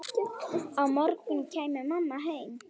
Á morgun kæmi mamma heim.